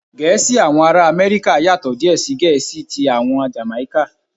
Gẹ̀ẹ́sì àwọn ará Amẹ́ríkà yàtò díè sí Gẹ̀ẹ́sì tí àwọn Jàmáíkà.